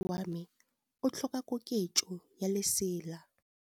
Moroki wa mosese wa me o tlhoka koketsô ya lesela.